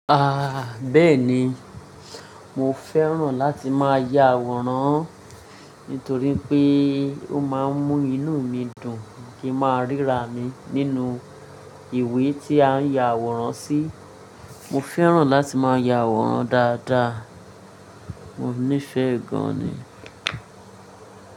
Bẹ́ẹ̀ni, mo fẹ́ràn láti máa ya àwòrán nítorí pé ó máa ń mú inú mi dùn kí a máa ríra mi nínú ìwé tí a ń ya àwòrán sí. Mo fẹ́ràn láti máa ya àwòrán dáadáa, mo nífẹ̀ẹ́ gan ni.